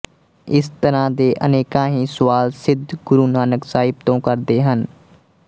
ਇਸ ਤਰ੍ਹਾਂ ਦੇ ਅਨੇਕਾਂ ਹੀ ਸੁਆਲ ਸਿੱਧ ਗੁਰੂ ਨਾਨਕ ਸਾਹਿਬ ਤੋਂ ਕਰਦੇ ਹਨ